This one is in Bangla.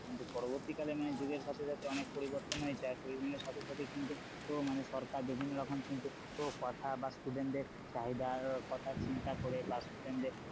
কিন্তু পরবর্তীকালে মানে যুগের সাথে সাথে অনেক পরিবর্তন হয়েছে আর পরিবর্তনের সাথে সাথে কিন্তু ও মানে সরকার বিভিন্নরকম কিন্তু কথা বা student দের চাহিদার কথা চিন্তা করে বা student দের,